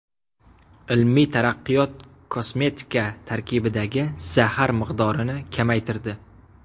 Ilmiy taraqqiyot kosmetika tarkibidagi zahar miqdorini kamaytirdi.